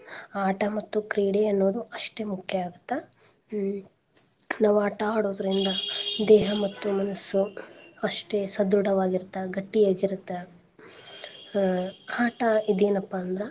ಆಟ ಮತ್ತು ಕ್ರೀಡೆ ಅನ್ನೋದು ಅಸ್ಟೇ ಮುಖ್ಯಾ ಆಗುತ್ತ. ಹ್ಮ್ ನಾವ್ ಆಟಾ ಆಡೋದ್ರಿಂದ ದೇಹ ಮತ್ತು ಮನಸ್ಸು ಅಸ್ಟೇ ಸದೃಡವಾಗಿರುತ್ತ ಗಟ್ಟಿಆಗಿರುತ್ತ. ಹ್ಮ್ ಆಟಾ ಇದೇನಪ್ಪ ಅಂದ್ರ.